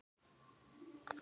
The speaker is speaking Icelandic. Ágústa Björg.